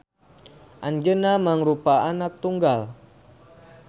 Anjeuna mangrupa anak tunggal